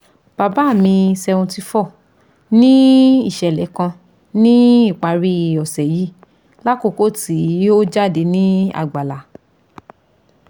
baba mi seventy four ni iṣẹlẹ kan ni ipari ose yii lakoko ti o jade ni àgbàlá